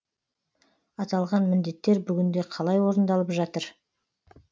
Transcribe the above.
аталған міндеттер бүгінде қалай орындалып жатыр